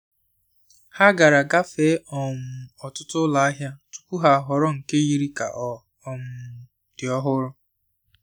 Ha gara gafee um ọtụtụ ụlọ ahịa tupu ha ahọrọ nke yiri ka ọ um dị ọhụrụ.